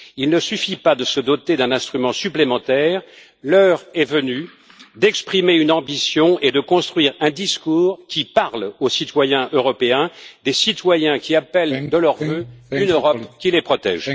Il ne suffit pas de se doter d'un instrument supplémentaire l'heure est venue d'exprimer une ambition et de construire un discours qui parle aux citoyens européens, des citoyens qui appellent de leurs vœux une Europe qui les protège.